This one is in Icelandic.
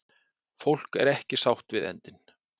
Fólk er ekki sátt við endinn